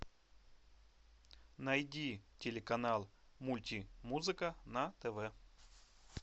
найди телеканал мультимузыка на тв